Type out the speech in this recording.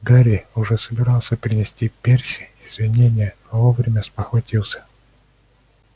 гарри уже собирался принести перси извинение но вовремя спохватился